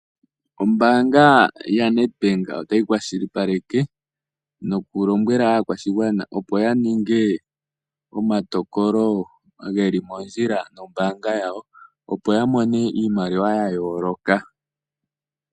Oombaanga yoNetbank otayi kwashilipaleke nokulombwela aakwashigwana opo yaninge omatokolo geli mondjila nombaanga yawo. Opo ya mone iimaliwa yayooloka.